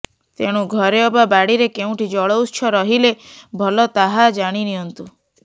ତେଣୁ ଘରେ ଅବା ବାଡ଼ିରେ କେଉଁଠି ଜଳଉତ୍ସ ରହିଲେ ଭଲ ତାହା ଜାଣି ନିଅନ୍ତୁ